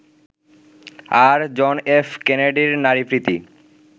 আর, John F কেনেডির নারীপ্রীতি